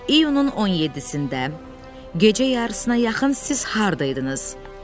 İyunun 17-də gecə yarısına yaxın siz harda idiniz?